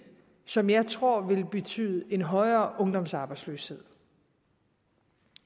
som jeg tror vil betyde en højere ungdomsarbejdsløshed